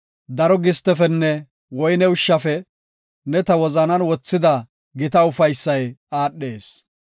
Daro gistefenne woyne ushshafe ne ta wozanan wothida gita ufaysay aadhees.